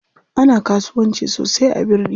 Ana kasuwanci sosai a birni.